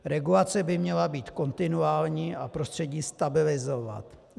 Regulace by měla být kontinuální a prostředí stabilizovat.